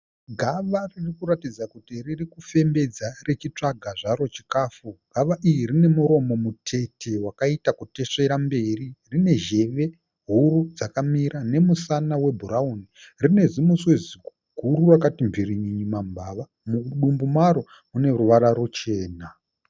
Gava riri kuratidza kuti riri kufembedza richitsvaga zvaro chikafu. Gava iri rine muromo mutete wakaita kutesvera mberi. Rine zheve huru dzakamira nemusana webhurauri. Rine zimuswe zikuguru rakati mverenyenye mambava. Mudumbu maro mune ruvara ruchena.